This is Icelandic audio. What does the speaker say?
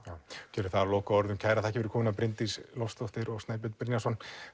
gerum það að lokaorðunum kærar þakkir fyrir komuna Bryndís Loftsdóttir og Snæbjörn Brynjarsson